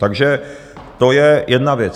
Takže to je jedna věc.